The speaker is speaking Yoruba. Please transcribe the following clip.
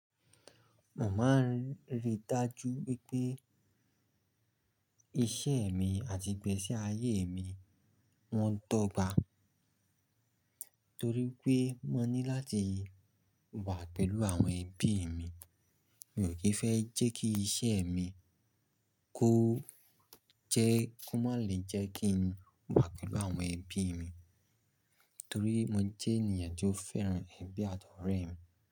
Mo máa ń ríi dájú wípé iṣẹ́ mi àti ìgbésí ayé mi wọ́n dọ́gba, torí pé mo ní láti wà pẹ̀lú àwọn ẹbí mi. Mi ò kì í fẹ́ jẹ́ kí iṣẹ́ mi kó jẹ́ ki má lè jẹ́ kí n wà pẹ̀lú àwọn ẹbí mi, torí mo jẹ́ ènìyàn tó fẹ́ràn ẹbí àti ọ́rẹ́ mi.